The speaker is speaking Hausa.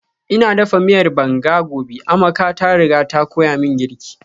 Ina dafa miyar banga gobe, Amaka ta riga ta koya min girki